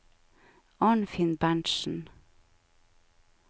Arnfinn Berntsen